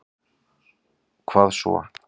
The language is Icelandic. Hvað svo.